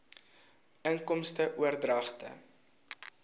inkomste oordragte